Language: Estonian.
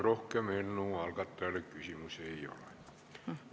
Rohkem eelnõu algatajale küsimusi ei ole.